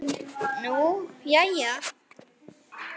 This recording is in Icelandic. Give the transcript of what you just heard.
Nú, jæja.